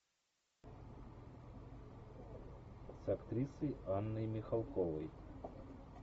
с актрисой анной михалковой